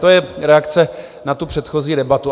To je reakce na tu předchozí debatu.